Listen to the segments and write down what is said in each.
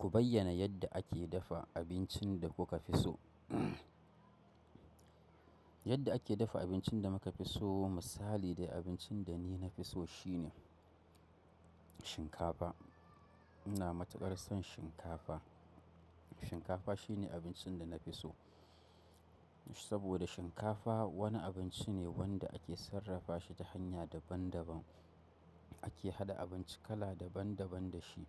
Ku bayyana yadda ake dafa abincin da kuka fi so. Yadda ake dafa abincin da muka fi so, misali dai abincin da ni na fi so shine shinkafa. Ina matukar son shinkafa. Shikafa shine abinci da na fiso, saboda shinkafa wani abinci ne wanda ake sarrafa shi da hanya daban daban ake haɗa abinci kala daban daban da shi.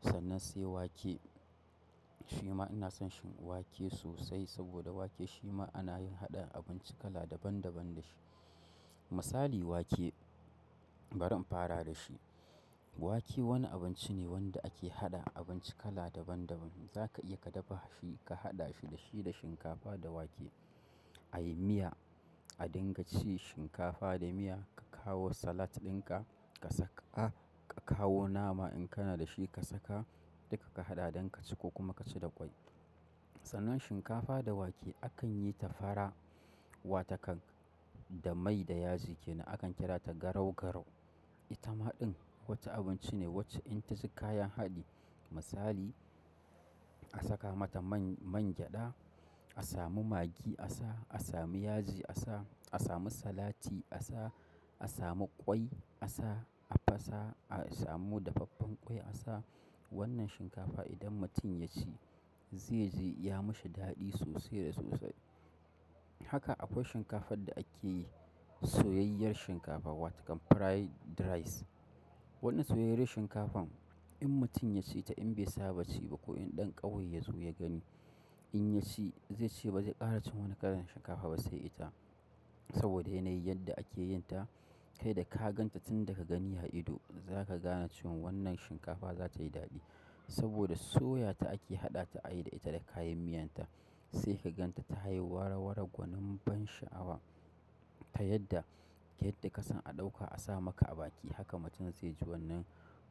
Sannan sai wake, shima ina son shi wake sosai saboda wake shima ana yin haɗa abinci kala daban daban da shi. Misali wake, bari in fara da shi. Wake wani abinci ne wanda ake haɗa abinci kala daban daban. Zaka iya ka dafa shi, ka haɗa shi da shi da shinkafa da wake. A yi miya, a dinga ci shinkafa da miya, ka kawo salat ɗinka ka saka, ka kawo nama in kana da shi ka saka duka ka haɗa don ka ci ko kuma ka ci da kwai. Sannan shinkafa da wake akan yi ta fara, wata kan da mai da yaji kenan. Akan kira ta garau garau. Ita maɗin wata abinci ne wacce in ta ci kayan haɗi, misali a saka mata man, man gyada, a samu magi a sa, a samu yaji a sa, a samu salati a sa, a samu kwai a sa, a fasa, a samu dafaffen kwai a sa. Wannan shinkafa idan mutum ya ci zai ji ya mishi daɗi sosai da sosai. Haka akwai shinkafar da ake yi soyayyar shinkafa, wata kan fried rice. Wannan soyayyayi yar shinkafan idan mutum ya ci ta in bai saba ci ba ko idan ɗan ƙauye ya zo ya gani, in ya ci zai ce ba zai ƙara cin wani kalan shinkafa ba sai ita. Saboda yanayin yadda ake yin ta, kai da ka gan ta tun daga gani ha ido, za ka gane cewa wannan shinkafa za ta yi daɗi. Saboda soyata ake haɗa ta, ayi da ita da kayan miyan ta. Sai ka ganta tayi wara-wara gwanin ban sha'awa. Ta yadda, yadda ka san a ɗauka a sa maka a baki, haka mutum zai ji wannan,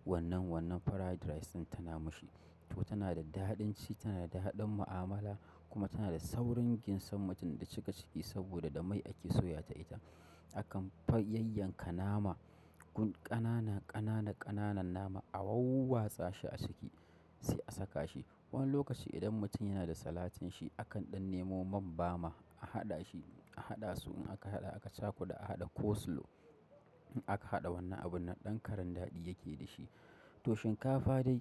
wannan, wannan fried rice tana mashi. To tana da daɗin ci, tana da daɗin mu'amala kuma tana da saurin ginsan mutum da cika ciki saboda da mai ake soya ta ita. Akan fa yayyan ka nama, gun ƙanana ƙanana ƙananan nama a wauwatsa shi a ciki sai a saka shi. Wani lokaci idan mutum yana da salatin shi akan ɗan nemo man bama a haɗa shi, a haɗa su in aka haɗa aka caku da aka haɗa coleslaw. Akan haɗa wannan abun nan ɗan karan daɗi yake da shi. To shinkafa dai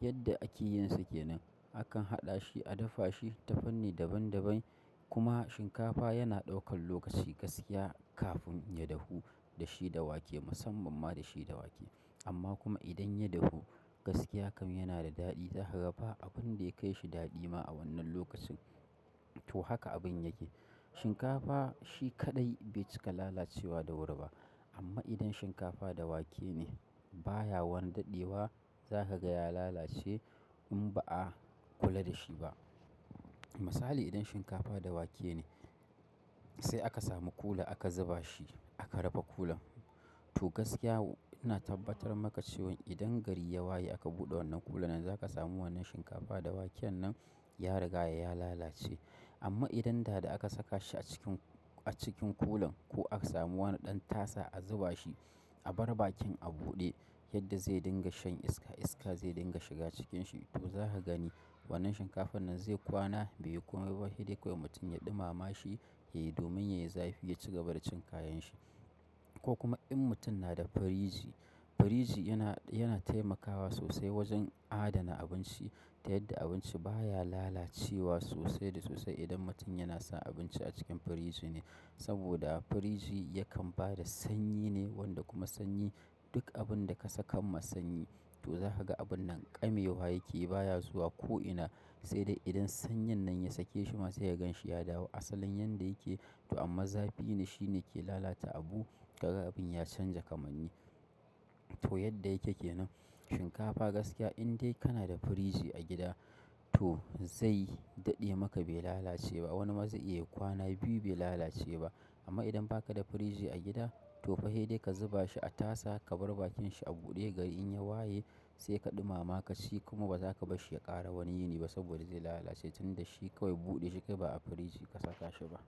yadda ake yin sa kenan, akan haɗa shi, a dafa shi ta fanni daban daban. Kuma shinkafa yana ɗaukan lokaci gaskiya kafin ya dahu da shi da wake, musamman ma da shi da wake. Amma kuma idan ya dahu gaskiya kam yana da daɗi. Za ka ga ba abin da ya kai shi daɗi ma a wannan lokacin. To haka abin yake. Shinkafa shi kaɗai bai cika lalacewa da wuri ba. Amma idan shinkafa da wake ne baya wani dadewa sai kaga ya lalace in ba a kula da shi ba misali idan shinkafa da wake ne sai aka samu kula aka zuba shi, aka rufe kulan. To gaskiya ina tabbatar maka cewan idan gari ya waye aka buɗe wannan kulan nan za ka samu wannan shinkafa da wake nan ya riga ya lalace. Amma idan da da aka saka shi a cikin, a cikin kulan ko aka samu wani ɗan tasa a zuba shi, a bar bakin a buɗe yadda zai dinga shan iska iska zai dinga shiga cikin shi. To za ka gani wannan shinkafan nan zai kwana bai yi kamai ba sai dai kawai mutum ya ɗumama shi yayi domin yayi zafi ya ci gaba da cin kayan shi. Ko kuma in mutum yana da firiji, firiji yana taimakasa sosai wajen a dana abinci. Ta yadda abinci baya lalacewa sosai da sosai idan mutum yana sa abinci a cikin firiji ne. Saboda firiji yakan ba da sanyi ne wanda kuma sanyi duk abun da ka saka masa sanyi. To za ka ga abun nan ƙame wa yake yi baya zuwa ko'ina. Sai dai idan sanyin nan ya sake shi masa ya gan shi ya dawo asalin yadda yake. To amma zafi ne shi ne ke lalata abu daga abin ya canja kamanni. To yadda yake kenan shinkafa gaskiya in dai kana da firiji a gida, to zai daɗe maka bai lalace ba. Wani ma zai iya yayi kwan biyu ma bai lalace ba. Amma idan ba ka da firiji a gida to fa sai dai ka zuba shi a tasa, ka bar bakin shi a buɗe gari in ya waye sai ka ɗumama ka ci kuma ba za ka bar shi ya ƙara wani yini ba saboda zai lalace tunda shi kawai buɗe yake ba a firiji ka saka shi ba.